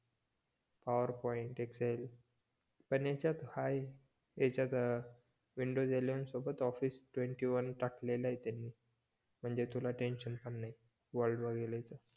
power point, Excel पण याच्यात आहे याच्यात विंडोज इलेव्हन सोबत ऑफिस ट्वेंटीवन टाकल आहे त्यांनी म्हणजे तुला टेन्शन पण नाही वर्ड वगैरे च